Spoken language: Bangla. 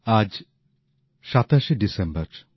আজ সাতাশে ডিসেম্বর